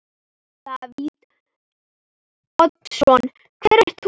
Davíð Oddsson: Hver ert þú?